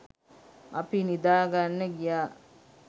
අපි නිදා ගන්න ගියා.